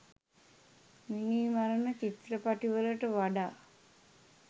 මිනී මරන චිත්‍රපටිවලට වඩා